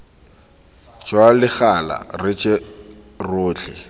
jwa legala re je rotlhe